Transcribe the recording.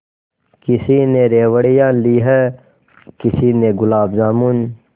किसी ने रेवड़ियाँ ली हैं किसी ने गुलाब जामुन